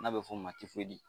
N'a bɛ fɔ o ma tifoyidi.